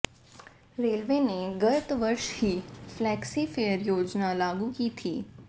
railway ने गत वर्ष ही फ्लैक्सी फेयर योजना लागू की थी